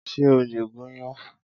Ṣé o lè gúnyán?